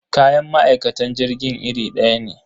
Kayan ma'aikatan jirgin irin daya ne.